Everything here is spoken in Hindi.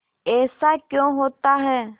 ऐसा क्यों होता है